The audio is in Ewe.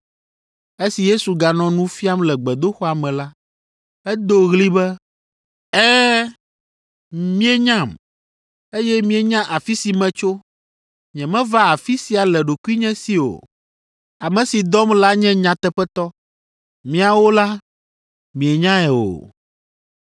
Esi Yesu ganɔ nu fiam le gbedoxɔa me la, edo ɣli be, “Ɛ̃, mienyam, eye mienya afi si metso. Nyemeva afi sia le ɖokuinye si o; ame si dɔm la nye nyateƒetɔ. Miawo la, mienyae o,